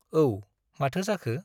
औ, माथो जाखो ?